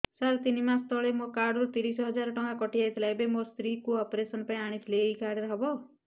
ସାର ତିନି ମାସ ତଳେ ମୋ କାର୍ଡ ରୁ ତିରିଶ ହଜାର ଟଙ୍କା କଟିଯାଇଥିଲା ଏବେ ମୋ ସ୍ତ୍ରୀ କୁ ଅପେରସନ ପାଇଁ ଆଣିଥିଲି ଏଇ କାର୍ଡ ରେ ହବ